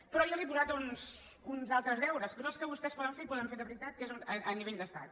però jo li he posat uns altres deures que són els que vostès poden fer i poden fer de veritat que és a nivell d’estat